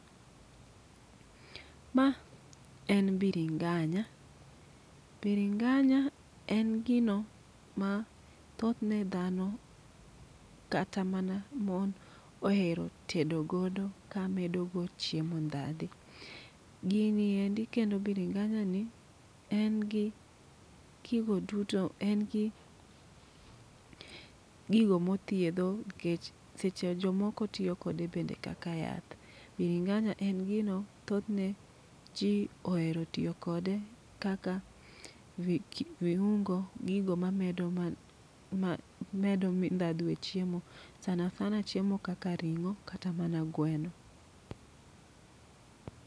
Ma en biringanya, biringanya en gino ma thothne dhano kata mana mon ohero tedo godo ka medo go chiemo ndhadho. Gini endi kendo biringanya ni en gi gigo duto, en gi gigo mothiedho nikech seche jomoko tiyo kode kaka yath. Biringanya en gino thothne ji ohero tiyo kode kaka vi k viungo, gigo mamedo man ma medo ndhadhu e chiemo. Sana sana chiemo kaka ring'o kata mana gweno.